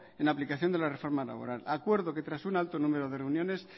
en la aplicación de la reforma laboral acuerdo que tras un alto número de reuniones